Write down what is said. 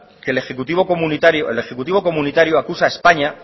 que el ejecutivo comunitario acusa a españa